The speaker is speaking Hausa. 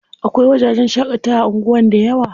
Akwai wajajen shaƙatawa a anguwan dayawa.